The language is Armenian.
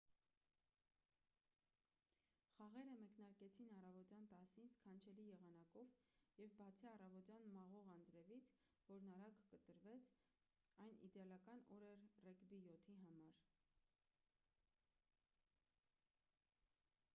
խաղերը մեկնարկեցին առավոտյան 10:00-ին սքանչելի եղանակով և բացի առավոտյան մաղող անձրևից որն արագ կտրվեց այն իդեալական օր էր ռեգբի 7-ի համար: